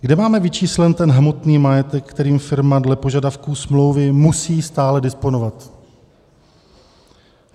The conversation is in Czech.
Kde máme vyčíslený ten hmotný majetek, kterým firma dle požadavků smlouvy musí stále disponovat?